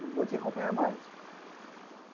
Não vou te acompanhar mais.